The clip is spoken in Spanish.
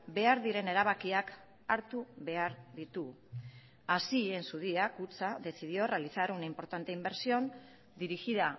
behar diren erabakiak hartu behar ditu así en su día kutxa decidió realizar una importante inversión dirigida